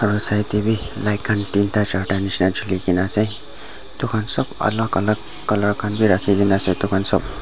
aro side tey b light khan tinda charda nishi na juli ke na ase etu khan sob alak alak colour raki kena ase etu khan sob.